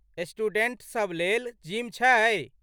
Students सभलेल gym छै?